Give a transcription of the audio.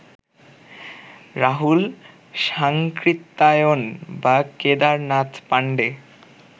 রাহুল সাংকৃত্যায়ন বা কেদারনাথ পাণ্ডে